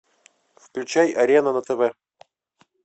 включай арена на тв